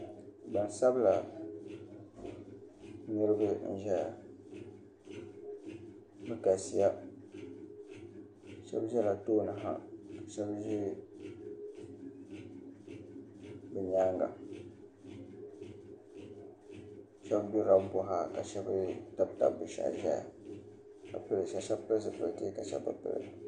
Gbansabila niraba n ʒɛya bi galisiya shab ʒɛla tooni ha ka shab ʒɛ bi nyaanga shab ʒirila kuɣa ka shab durila kuɣa ka shab tabtab bi shahi ʒɛya shab pili zipiliti ka shab bi pili